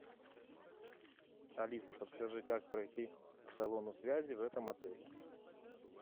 алиса подскажи как пройти к салону связи в этом отеле